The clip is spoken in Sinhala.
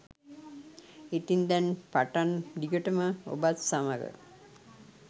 ඉතින් දැන් පටන් දිගටම ඔබත් සමඟ